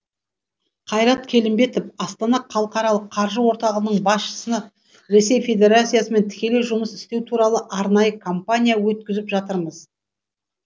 қайрат келімбетов астана халықаралық қаржы орталығының басшысы ресей федерациясымен тікелей жұмыс істеу туралы арнайы компания өткізіп жатырмыз